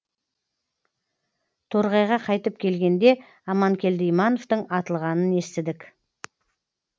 торғайға қайтып келгенде аманкелді имановтың атылғанын естідік